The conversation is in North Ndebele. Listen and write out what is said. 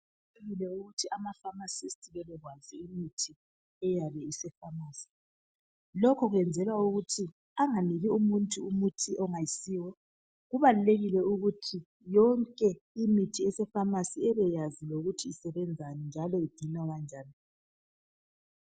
Kuqakathekile ukuthi amafamasisti bebekwazi imithi okumele eyabe isefamasi. Lokhu kuyenzwela ukuthi anganiki umuntu umuthi ongasiyo. Kubalulekile ukuthi yonke imithi esefamasi ebeyazi lokuthi isebenzani njalo ingcinwa kanjani.